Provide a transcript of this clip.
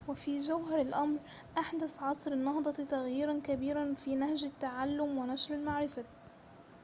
وفي جوهر الأمر أحدث عصر النهضة تغييراً كبيراً في نهج التعلم ونشر المعرفة